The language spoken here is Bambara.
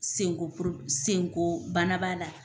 Sen ko senkobana b'a la.